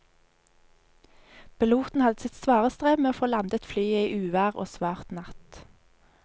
Piloten hadde sitt svare strev med å få landet flyet i uvær og svart natt.